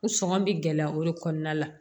N sɔngɔn bɛ gɛlɛya o de kɔnɔna la